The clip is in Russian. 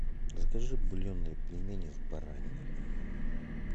закажи бульонные пельмени с бараниной